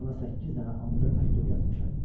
Mən ona səkkiz dənə andır məktub yazmışam.